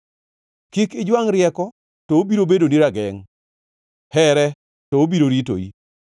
Kik ijwangʼ rieko to obiro bedoni ragengʼ; here, to obiro ritoi.